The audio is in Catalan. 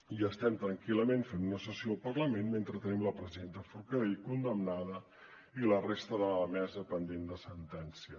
i estem tranquil·lament fent una sessió al parlament mentre tenim la presidenta forcadell condemnada i la resta de la mesa pendent de sentència